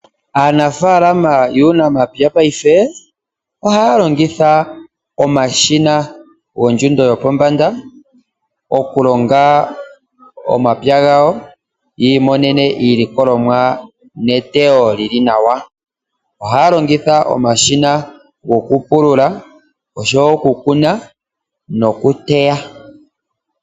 Aanafaalma yuunamapya paife ohaya longitha omashina goondjundo yopombanda okulonga omapya gawo yiimonene iilikolomwa neteyo lili nawa, ohaya longitha omashina go kupulula osho wo okukuna noku teya.